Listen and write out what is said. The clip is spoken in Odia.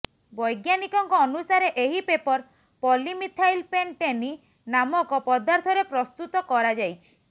ବୈଜ୍ଞାନିକଙ୍କ ଅନୁସାରେ ଏହି ପେପର ପଲିମିଥାଇଲ୍ପେଣ୍ଟେନି ନାମକ ପଦାର୍ଥରେ ପ୍ରସ୍ତୁତ କରାଯାଇଛି